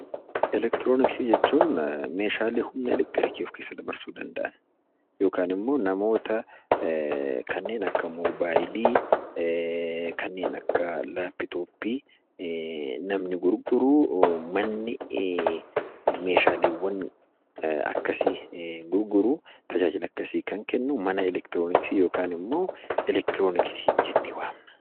Eleektirooniksii jechuun meeshaalee humna eleektirikii of keessa dabarsuu danda’an yookaan immoo namoota kanneen akka mobaayilii, kanneen akka laaptooppii namni gurguru, manni meeshaalee akkasii gurguru, tajaajila akkasii kan kennu mana eleektirooniksii yookaan immoo eleektirooniksii jennee waamna.